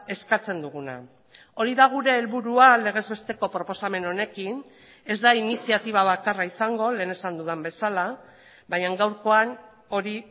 eskatzen duguna hori da gure helburua legez besteko proposamen honekin ez da iniziatiba bakarra izango lehen esan dudan bezala baina gaurkoan hori